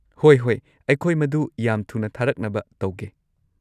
ꯍꯣꯏ ꯍꯣꯏ꯫ ꯑꯩꯈꯣꯏ ꯃꯗꯨ ꯌꯥꯝ ꯊꯨꯅ ꯊꯥꯔꯛꯅꯕ ꯇꯧꯒꯦ꯫